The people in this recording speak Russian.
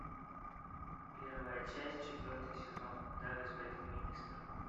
первая часть четвертый сезон да господин министр